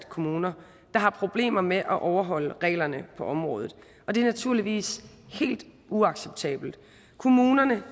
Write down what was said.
kommuner der har problemer med at overholde reglerne på området og det er naturligvis helt uacceptabelt kommunerne